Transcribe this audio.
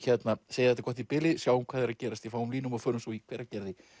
segja þetta gott í bili sjáum hvað er að gerast í fáum línum og förum svo í Hveragerði